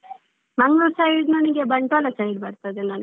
Mangalore side ನನಿಗೆ Bantwal side ಬರ್ತದೆ ನಂದು.